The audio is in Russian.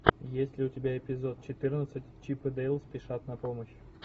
есть ли у тебя эпизод четырнадцать чип и дейл спешат на помощь